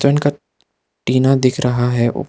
का टीना दिख रहा है।